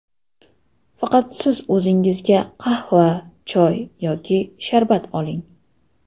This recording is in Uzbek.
Faqat siz o‘zingizga qahva, choy yoki sharbat oling.